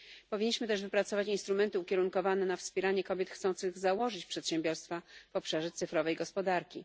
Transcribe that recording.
Powinniśmy też wypracować instrumenty ukierunkowane na wspieranie kobiet chcących założyć przedsiębiorstwa w obszarze cyfrowej gospodarki.